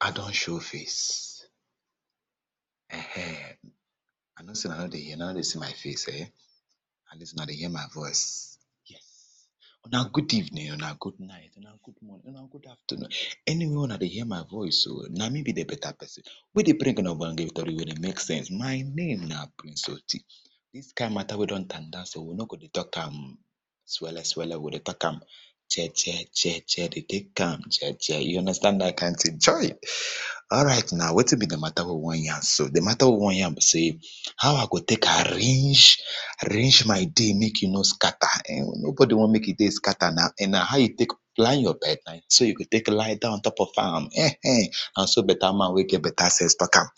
I don show face, ehen I know sey una nor dey hear, una nor dey see my face at least una dey hear my voice. Una good evening, una good night, una good morning, una good afternoon, anywhere una dey hear my voice so na me be better person wey dey bring una [2] wey dey make sense, my name na price Oti, dis kind matter wey don tanda so, we no ge dey talk am swelle swelle, we go talk am jeje jeje dey take am jeje, you understand dat kind thing chai, alright na wetin be di matter wey we wan yan so, di matter wey we wan yan so na how I go take arrange, arrange my day make e no scatter, no body wan make e day scatter now, na how you take plan your bed, na so yo u go take lie down o n top of am ehen, na so better man wey get better sense take talk am,